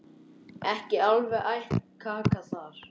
Ekki alveg æt kaka þar.